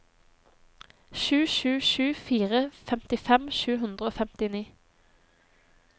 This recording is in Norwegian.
sju sju sju fire femtifem sju hundre og femtini